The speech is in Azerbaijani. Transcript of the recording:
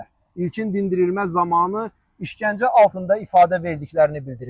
İlkin dindirilmə zamanı işgəncə altında ifadə verdiklərini bildiriblər.